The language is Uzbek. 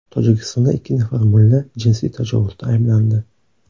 Tojikistonda ikki nafar mulla jinsiy tajovuzda ayblandi.